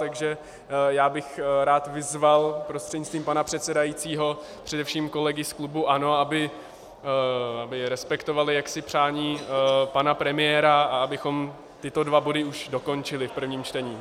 Takže já bych rád vyzval prostřednictvím pana předsedajícího především kolegy z klubu ANO, aby respektovali jaksi přání pana premiéra a abychom tyto dva body už dokončili v prvním čtení.